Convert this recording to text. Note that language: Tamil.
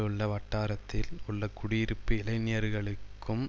உள்ள வட்டாரத்தில் உள்ள குடியிருப்பு இளைஞர்களுக்கும்